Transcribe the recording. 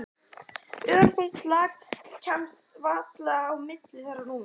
Örþunnt lak kæmist varla á milli þeirra núna.